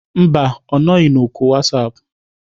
Mba, ọ nọghị na oku WhatsApp.